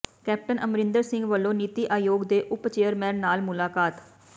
captain Amarinder Singh ਵੱਲੋਂ ਨੀਤੀ ਆਯੋਗ ਦੇ ਉਪ ਚੇਅਰਮੈਨ ਨਾਲ ਮੁਲਾਕਾਤ